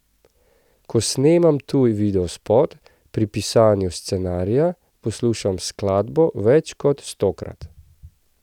Ko snemam tuj videospot, pri pisanju scenarija poslušam skladbo več kot stokrat.